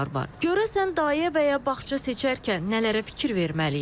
Görəsən dayə və ya bağça seçərkən nələrə fikir verməliyik?